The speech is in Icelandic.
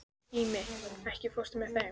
Ími, ekki fórstu með þeim?